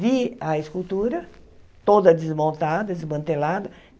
Vi a escultura toda desmontada, desmantelada.